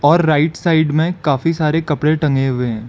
और right side में काफी सारे कपड़े टंगे हुए है।